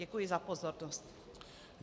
Děkuji za pozornost.